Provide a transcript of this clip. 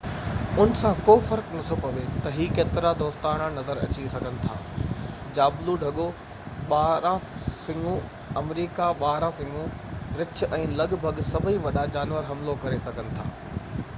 ان سان ڪو فرق نٿو پوي تي اهي ڪيترائي دوستاڻا نظر اچي سگهن ٿا جابلو ڍڳو ٻارانهن سڱو آمريڪي ٻارانهن سڱو رڇ ۽ لڳ ڀڳ سڀئي وڏا جانور حملو ڪري سگهن ٿا